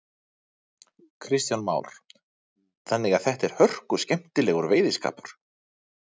Kristján Már: Þannig að þetta er hörkuskemmtilegur veiðiskapur?